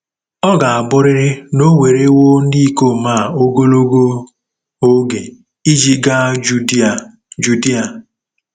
Ọ ga-abụrịrị na o werewo ndị ikom a ogologo oge iji gaa Judia Judia.